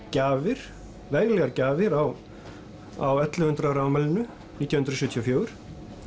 gjafir veglegar gjafir á á ellefu hundruð ára afmælinu nítján hundruð sjötíu og fjögur